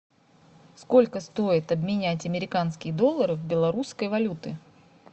сколько стоит обменять американские доллары в белорусской валюты